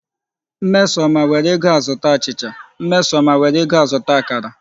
Mmesoma, were ego a zụta achicha Mmesoma, were ego a zụta akara